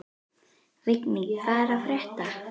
Vigný, hvað er að frétta?